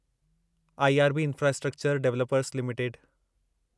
IRB infrastructure developers limited